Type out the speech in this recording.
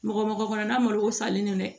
Mɔgɔ mɔgɔ kɔnɔnna malo o falen no dɛ